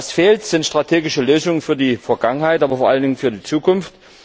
Was fehlt, sind strategische Lösungen für die Vergangenheit, aber vor allen Dingen für die Zukunft.